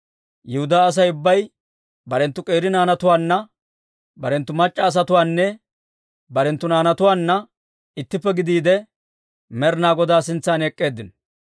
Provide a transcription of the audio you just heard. Yihudaa Asay ubbay barenttu k'eeri naanatuwaanna, barenttu mac'c'a asatuwaananne barenttu naanatuwaanna ittippe gidiide, Med'inaa Godaa sintsan ek'k'eeddinno.